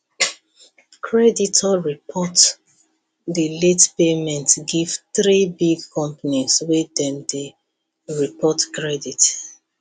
creditor report the late payment give three big companies wey dem dey report credit